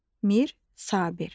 Mir Sabir.